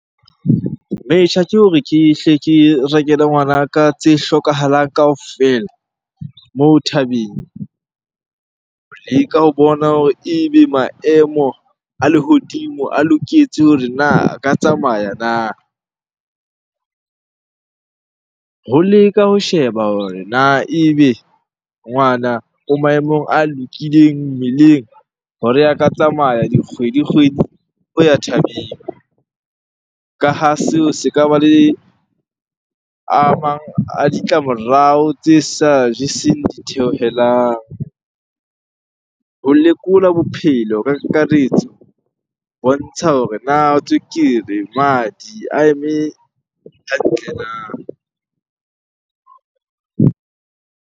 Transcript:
Metjha ke hore ke hle ke rekele ngwanaka tse hlokahalang kaofela moo thabeng ho leka ho bona hore ebe maemo a lehodimo a loketse hore na a ka tsamaya na? Ho leka ho sheba hore na ebe ngwana o maemong a lokileng mmeleng hore a ka tsamaya dikgwedi-kgwedi ho ya thabeng. Ka ha seo se ka ba le a mang a ditlamorao tse sa jeseng ditheohelang. Ho lekola bo bophelo ka kakaretso ho bontsha hore na tswekere, madi a eme hantle na?